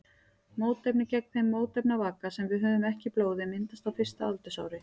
Mótefni gegn þeim mótefnavaka sem við höfum ekki í blóði myndast á fyrsta aldursári.